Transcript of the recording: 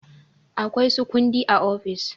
Akwai su kundi a ofis.